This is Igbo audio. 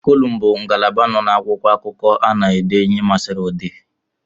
Kolumu bụ ngalaba nọ n'akwụkwọakụkọ a na ede ihe masịrị odee